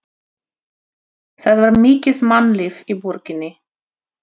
Það var mikið mannlíf í borginni.